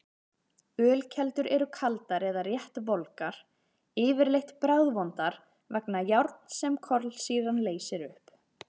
Ölkeldur eru kaldar eða rétt volgar, yfirleitt bragðvondar vegna járns sem kolsýran leysir upp.